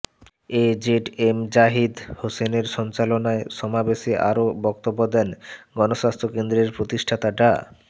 এ Z M Zahid হোসেনের সঞ্চালনায় সমাবেশে আরও বক্তব্য দেন গণস্বাস্থ্য কেন্দ্রের প্রতিষ্ঠাতা ডা